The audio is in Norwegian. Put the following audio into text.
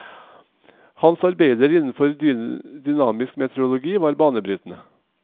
Hans arbeider innenfor dynamisk meteorologi var banebrytende.